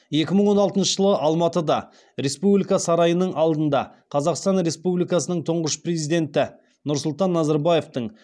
екі мың алтыншы жылы алматыда республика сарайының алдына қазақстан республикасының тұңғыш президенті нұрсұлтан назарбаевтың